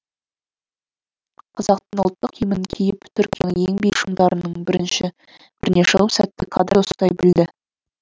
қазақтың ұлттық киімін киіп түркияның ең биік шыңдарының біріне шығып сәтті кадрды ұстай білді